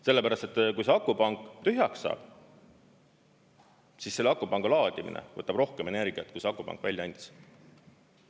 Sellepärast, et kui see akupank tühjaks saab, siis selle akupanga laadimine võtab rohkem energiat kui see akupank välja andis.